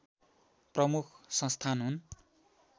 प्रमुख संस्थान हुन्